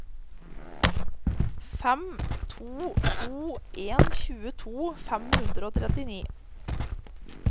fem to to en tjueto fem hundre og trettini